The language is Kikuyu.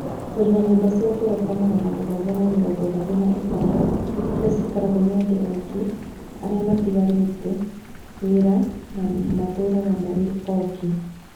"Tũrĩ na nyũmba cia gorofa 735 iria ciikaragwo nĩ andũ aingĩ arĩa matigarĩte wĩra na matũũraga marĩ oiki.